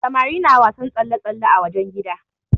Samari na wasan tsalle-tsalle a wajen gida.